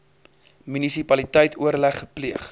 munisipaliteit oorleg gepleeg